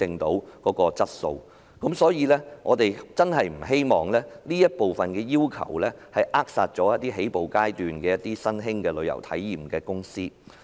因此，我們真的不希望有關要求扼殺一些處於起步階段的旅遊體驗公司。